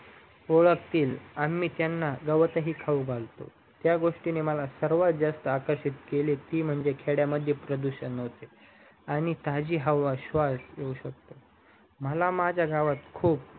ओडखतील आम्ही त्यांना चारा ही खाऊ खालतो त्या गोष्टीने मला सर्वात जास्त आकर्षित केले ती म्हणजे खेड्यामद्धे प्रदूषणहोते आणि ताजी हवा स्वास येऊ शकते